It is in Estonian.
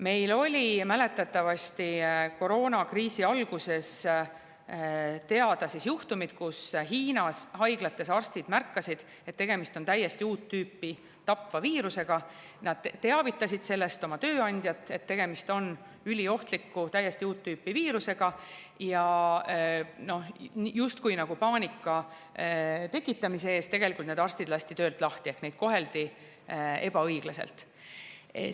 Meil oli mäletatavasti koroonakriisi alguses teada juhtumid, kus Hiinas haiglates arstid märkasid, et tegemist on täiesti uut tüüpi tapva viirusega, nad teavitasid sellest oma tööandjat, et tegemist on üliohtliku täiesti uut tüüpi viirusega, aga siis justkui nagu paanika tekitamise eest lasti need arstid töölt lahti ehk neid koheldi ebaõiglaselt.